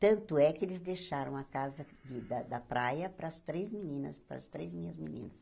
Tanto é que eles deixaram a casa de da da praia para as três meninas, para as três minhas meninas.